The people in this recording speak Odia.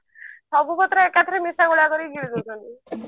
ସବୁ ପତ୍ର ଏକାଥରେ ମିଶାଗୁଳା କରି ଗିଳି ଦଉଛନ୍ତି